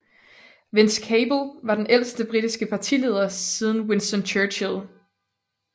Vince Cable var den ældste britiske partileder siden Winston Churchill